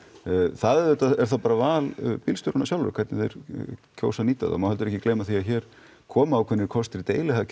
það er auðvitað val bílstjóranna sjálfra hvernig þeir kjósa að nýta þá það má heldur ekki gleyma að hér koma ákveðnir kostir